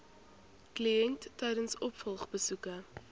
kliënt tydens opvolgbesoeke